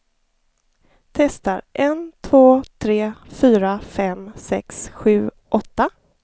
Testar en två tre fyra fem sex sju åtta.